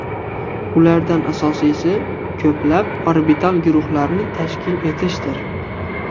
Ulardan asosiysi ko‘plab orbital guruhlarni tashkil etishdir.